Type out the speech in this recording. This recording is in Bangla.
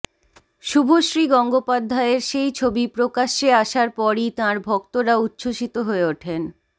শুভশ্রী গঙ্গোপাধ্যায়ের সেই ছবি প্রকাশ্যে আসার পরই তাঁর ভক্তরা উচ্ছ্বসিত হয়ে ওঠেন